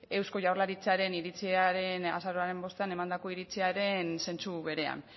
eusko jaurlaritzaren iritziaren azaroaren bostean emandako iritziaren zentzu berean